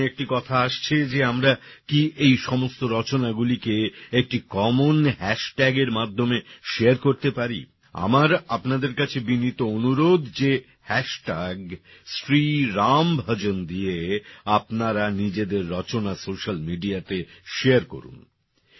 আমার মনে একটি কথা আসছে যে আমরা কি এই সমস্ত রচনা গুলিকে একটি কমন hashtagএর মাধ্যমে শেয়ার করতে পারি আমার আপনাদের কাছে বিনীত অনুরোধ যে শ্রী রাম ভজন দিয়ে আপনারা নিজেদের রচনা সোশ্যাল মেডিয়াতে শারে করুন